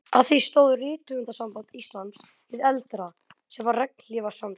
Að því stóð Rithöfundasamband Íslands hið eldra, sem var regnhlífarsamtök